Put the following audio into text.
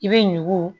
I bɛ ɲugu